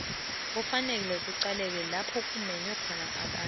kufanele kucaleke lapha kumenywe khona abantu